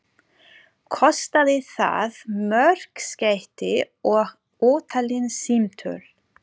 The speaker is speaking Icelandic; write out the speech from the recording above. Kostaði það mörg skeyti og ótalin símtöl.